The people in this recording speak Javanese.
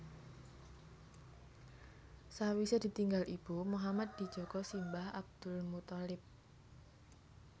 Sawisé ditinggal ibu Muhammad dijaga simbah Abdul Muththalib